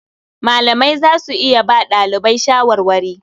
Malamai za su iya ba ɗalibai shawarwari.